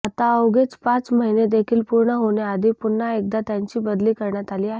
आता अवघे पाच महिने देखील पूर्ण होण्याआधी पुन्हा एकदा त्यांची बदली करण्यात आली आहे